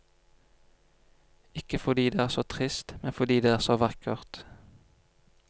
Ikke fordi det er så trist, men fordi det er så vakkert.